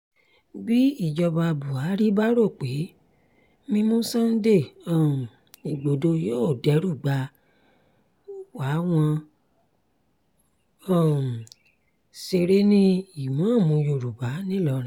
bí ìjọba buhari bá rò pé mímu sunday um igbodò yóò derúgbà wá wọn ń um ṣeré ní-ìmààmù yorùbá ńìlọrin